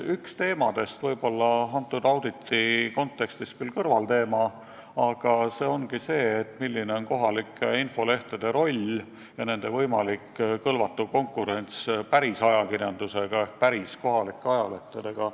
Üks teemadest, võib-olla selle auditi kontekstis küll olla kõrvalteema, aga küsimus ongi selles, milline on kohalike infolehtede roll ja nende võimalik kõlvatu konkurents päris ajakirjandusega ehk päris kohalike ajalehtedega.